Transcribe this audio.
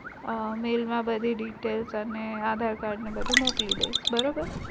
Mail માં બધી details અને aadhar card ને બધુ મોકલી દઈસ બરોબર